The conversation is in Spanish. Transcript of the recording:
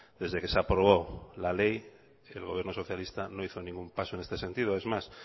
desde que se aprobó la ley el gobierno socialista no hizo ningún paso en este sentido es más